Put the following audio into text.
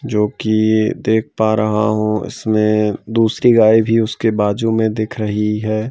जो कि देख पा रहा हूं इसमें दूसरी गाय भी उसके बाजू में दिख रही है।